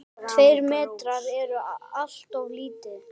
Tveir metrar eru alltof lítið.